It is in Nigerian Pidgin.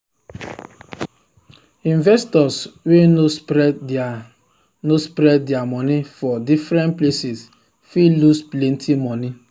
investors wey no spread their no spread their money for different places fit lose plenty money.